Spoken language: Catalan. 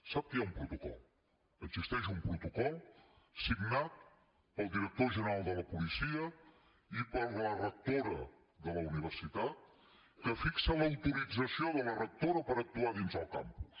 sap que hi ha un protocol existeix un protocol signat pel director general de la policia i per la rectora de la universitat que fixa l’autorització de la rectora per actuar dins el campus